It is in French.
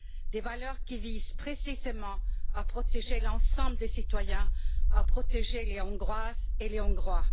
Des valeurs qui visent précisément à protéger l'ensemble des citoyens, à protéger les Hongroises et les Hongrois.